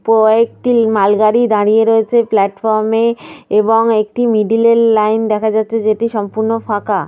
কয়েকটি মাল গাড়ি দাঁড়িয়ে রয়েছে প্লাটফর্ম -এ এবং একটি মিডল -এর লাইন দেখা যাচ্ছে যেটি সম্পূর্ণ ফাঁকা।